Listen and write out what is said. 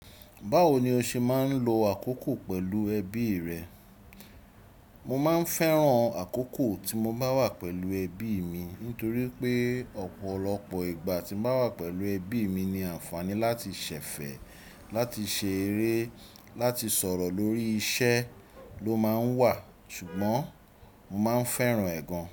Báwo ni o ṣe máa ń lo àkókò pẹ̀lú ẹbí rẹ? Mo máa ń fẹ́ràn àkókò tí mo bá wà pẹ̀lú ẹbí mi nítorí pé ọ̀pọ̀lọpọ̀ ìgbà tí mo bá wà pẹ̀lú ẹbí mi ni àǹfààní láti ṣẹ̀fẹ̀, láti ṣe eré, láti sọ̀rọ̀ lórí iṣẹ́ ló máa ń wà ṣùgbọ́n mo máa ń fẹ́ràn ẹ gan.